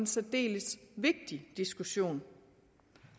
særdeles vigtig diskussion